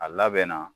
A labɛnna